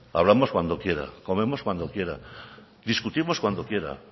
hablamos cuando quiera comemos cuando quiera discutimos cuando quiera